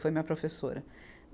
Foi minha professora.